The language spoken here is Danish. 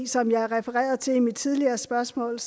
som jeg refererede til i mit tidligere spørgsmål